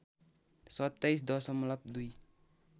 २७ दशमलव २